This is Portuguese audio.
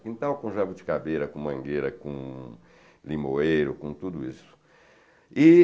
Quintal com jabuticabeira, com mangueira, com limoeiro, com tudo isso. E